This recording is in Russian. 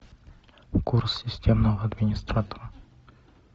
курс системного администратора